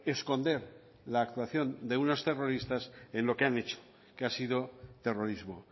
esconder la actuación de unos terroristas en lo que han hecho que ha sido terrorismo